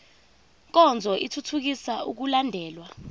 nkonzo ithuthukisa ukulandelwa